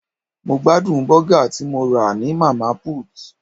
Mo gbádùn bọ́gà tí mo rà ní Mama put.